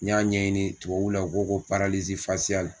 N y'a ɲɛɲini tubabu la o o ko la.